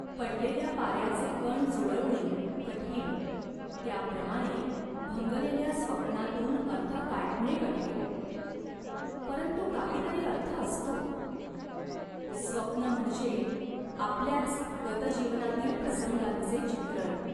पडलेल्या पाऱ्याचे कण जुळवणे कठीण, त्या प्रमाणे भंगलेल्या स्वप्नातून अर्थ काढणे कठीण." "परंतु काहीतरी अर्थ असतो. स्वप्न म्हणजे आपल्याच गतजीवनातील प्रसंगांचे चित्रण.